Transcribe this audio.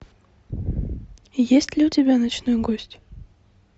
есть ли у тебя ночной гость